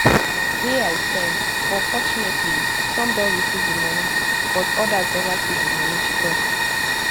wey i send but fortunately some don receive di money but odas neva see di money she tok